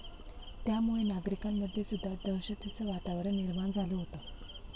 त्यामुळे नागरिकांमध्ये सुद्धा दहशतीचं वातावरण निर्माण झालं होतं.